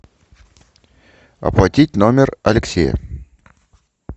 оплатить номер алексея